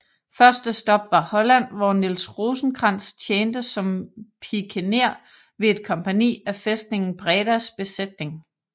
Første stop var Holland hvor Niels Rosenkrantz tjente som pikener ved et kompagni af fæstningen Bredas Besætning